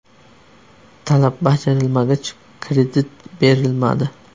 Talab bajarilmagach, kredit berilmadi”.